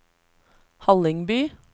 Hallingby